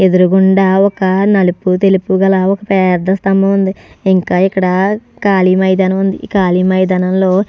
ఎదురు గుండా ఒక నలుపు తెలుపు గల ఒక పేద్ద స్తంబం ఉంది ఇంకా ఇక్కడ కాళీ మైదానం ఉంది. కాళీ మైదానంలో --